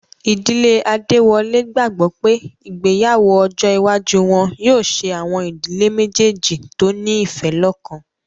Ìdílé Adéwọlé gbàgbọ́ pé ìgbéyàwó ọjọ́ iwájú wọn yóò ṣe àwọn ìdílé méjèèjì tó ní ìfẹ́ lọ́kan